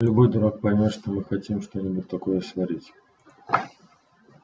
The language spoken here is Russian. любой дурак поймёт что мы хотим что-нибудь такое сварить